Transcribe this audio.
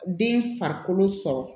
Den farikolo sɔrɔ